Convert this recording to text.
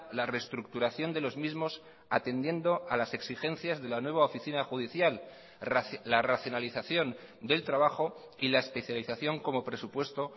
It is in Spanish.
la reestructuración de los mismos atendiendo a las exigencias de la nueva oficina judicial la racionalización del trabajo y la especialización como presupuesto